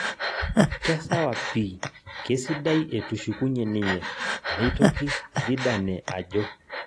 Kesawa pii, kesidae etushukunye ninye neitoki Zidane ajo